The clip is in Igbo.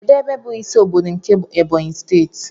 Kedụ ebe bụ ịsị ọbọdọ nke Ebonyi steeti?